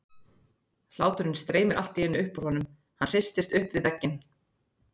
Hláturinn streymir allt í einu upp úr honum, hann hristist upp við vegginn.